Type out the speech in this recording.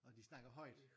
Åh de snakker højt